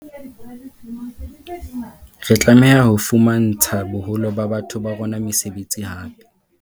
Re tlameha ho fumantsha boholo ba batho ba rona mesebetsi hape.